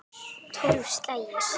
Tólf slagir!